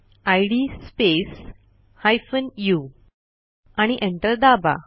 इद space hyphen उ आणि enter दाबा